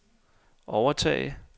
overtage